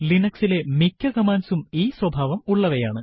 Linux ലെ മിക്ക കമാൻഡ്സും ഈ സ്വഭാവം ഉള്ളവയാണ്